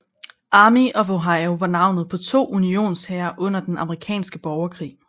Army of the Ohio var navnet på to Unionshære under den amerikanske borgerkrig